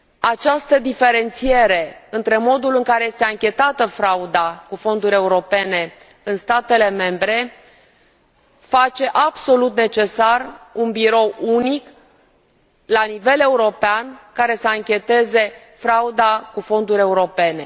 Această diferențiere între modul în care este anchetată frauda cu fonduri europene în statele membre face absolut necesar un birou unic la nivel european care să ancheteze frauda cu fonduri europene.